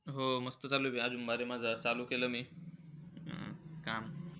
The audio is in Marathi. हो मस्त चालू आहे. आणि माझं चालू केलं मी. काम,